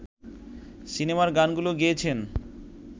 সিনেমার গানগুলো গেয়েছেন